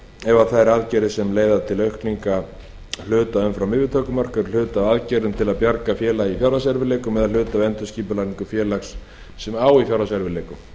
ef að þær aðgerðir sem leiða til aukningar hluta umfram yfirtökumörk eru hluti af aðgerðum til að bjarga félagi í fjárhagserfiðleikum eða hluti af endurskipulagningu félags sem á í fjárhagserfiðleikum